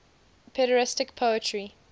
pederastic poetry